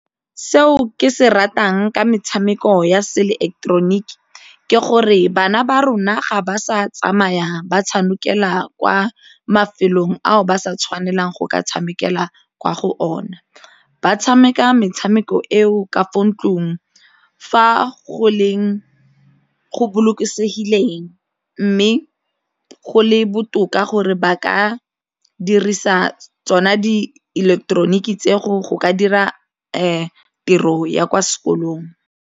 Seo ke se ratang ka metshameko ya seileketeroniki ke gore bana ba rona ga ba sa tsamaya ba tshamekela kwa mafelong ao ba sa tshwanelang go ka tshamekela kwa go ona, ba tshameka metshameko eo ka fo ntlong fa go bolokesegileng mme go le botoka gore ba ka dirisa tsona dieleketeroniki tse go go ka dira tiro ya kwa sekolong.